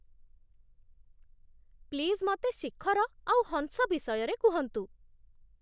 Please, ମତେ ଶିଖର ଆଉ ହଂସ ବିଷୟରେ କୁହନ୍ତୁ ।